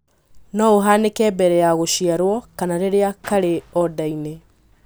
No ũhanĩke mbere ya gũciarwo, kana rĩrĩa karĩ o nda-inĩ